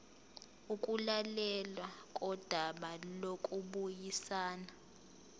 ukulalelwa kodaba lokubuyisana